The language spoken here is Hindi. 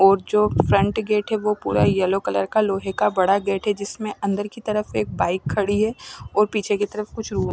और जो फ्रंट गेट है वो पुरा येलो कलर का लोहे का बड़ा गेट है जिसमें अंदर की तरफ एक बाइक खड़ी है और पीछे की तरफ कुछ लो--